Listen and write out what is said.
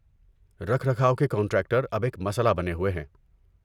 رکھ رکھاو کے کنٹراکٹر اب ایک مسئلہ بنے ہوئے ہیں۔